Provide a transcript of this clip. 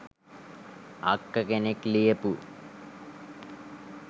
අක්ක කෙනෙක් ලියපු